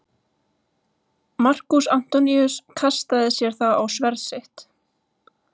Markús Antoníus kastaði sér þá á sverð sitt.